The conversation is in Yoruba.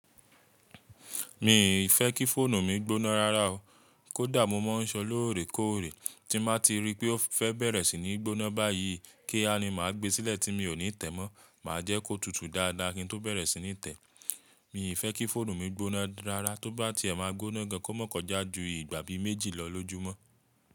Mi ì fẹ́ kí fóònù mi gbóná rárá o. Kódà mo máa ń sọ lóòrè kóòrè, tí màá ti rí pé ó fẹ́ bẹ̀rẹ̀ sí ní gbóná báyìí, kí á ni màá gbé sílẹ̀ tí mi ò ní tẹ̀ mọ́, màá jẹ́ kó tutù dáadáa kíi n tó bẹ̀rẹ̀ sí ní tẹ̀. Mi ì fẹ́ kí fóònù mi gbóná rárá, tó bá ti ẹ máa gbóná gan kò mọ̀ kọjá ju ìgbà bi méjì lọ lójúmọ́.